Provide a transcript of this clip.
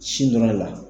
Sin dɔrɔn de la